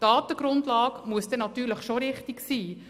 Die Datengrundlage muss dann natürlich schon richtig sein.